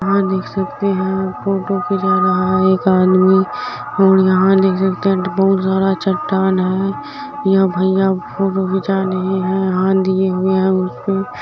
यहाँ देख सकते है फोटो खींचा रहा है एक आदमी यहाँ देख सकते है बहोत सारा चट्टान है यह भैया फोटो खिंचा रहे है हाथ दिए हुए है।